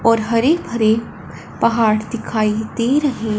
और हरे भरे पहाड़ दिखाई दे रहे--